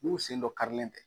N'u sen dɔ karilen tɛ.